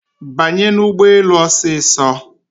Banye n'ụgbọelu osiso